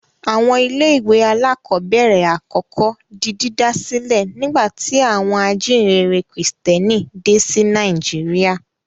Àwọn ilé-ìwé alákọ̀ọ́bẹ̀rẹ̀ àkọ́kọ́ di dídá sílẹ̀ nígbà tí àwọn ajíǹrere Kìrìtẹ́ẹ́nì dé sí Nàìjíríà.